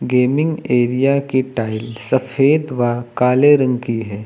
Gaming area की tile सफेद व काले रंग की है।